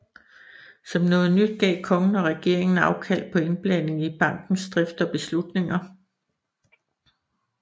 Som noget nyt gav kongen og regeringen afkald på indblanding i bankens drift og beslutninger